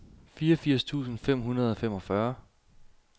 fireogfirs tusind fem hundrede og femogfyrre